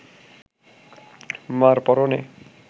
মার পরনে